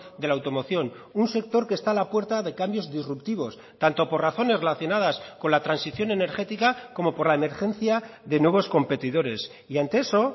de la automoción un sector que está a la puerta de cambios disruptivos tanto por razones relacionadas con la transición energética como por la emergencia de nuevos competidores y ante eso